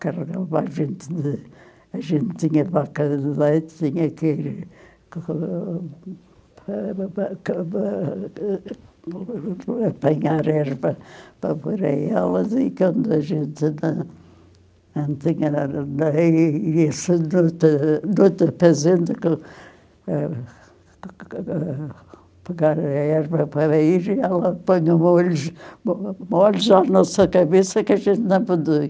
a gente a gente tinha vaca de leite tinha que... apanhar erva para pôr elas, e quando a gente não não tinha apanhar erva para ir, ela punha molhos, molhos na nossa cabeça que a gente não podia.